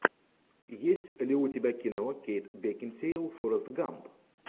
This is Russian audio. есть ли у тебя кино кейт бекинсейл форест гамп